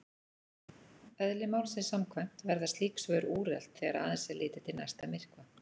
Eðli málsins samkvæmt verða slík svör úrelt þegar aðeins er litið til næsta myrkva.